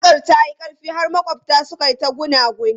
Waƙar ta yi ƙarfi har maƙwabta suka yi ta gunaguni.